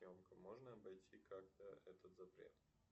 можно обойти как то этот запрет